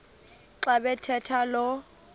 xa bathetha lo